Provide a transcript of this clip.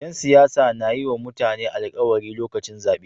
Yan siyasa na yiwa mutane alkawari lokacin zabe